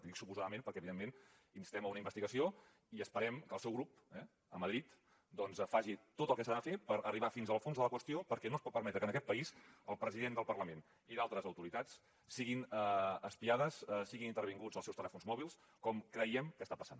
i dic suposadament perquè evidentment instem a una investigació i esperem que el seu grup a madrid faci tot el que s’ha de fer per arribar fins al fons de la qüestió perquè no es pot permetre que en aquest país el president del parlament i d’altres autoritats siguin espiades siguin intervinguts els seus telèfons mòbils com creiem que està passant